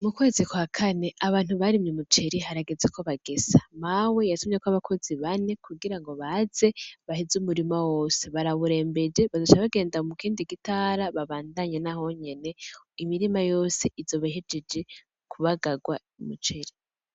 Mukwezi kw'akane abantu barimye umuceri harageze ko bagesa Mawe yatumyeko abakozi bane kugirango baze baheze umurima wose barawurembeje bazoca bagenda mukindi gitara babandanye naho nyene imirima yose izoba ihejeje kubagarwa umuceri